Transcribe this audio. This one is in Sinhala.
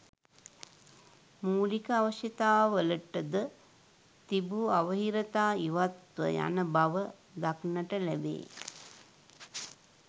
මූලික අවශ්‍යතාවලටද තිබූ අවහිරතා ඉවත්ව යනබව දක්නට ලැබේ